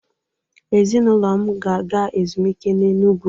Ezịnụlo m ga-aga ezụmike na Enụ. gwu